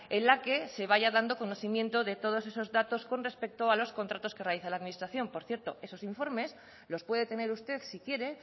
en la que se vaya dando conocimiento de todos esos datos con respecto a los contratos que realiza la administración por cierto esos informes los puede tener usted si quiere